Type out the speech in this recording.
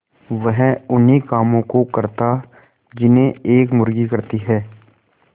वह उन्ही कामों को करता जिन्हें एक मुर्गी करती है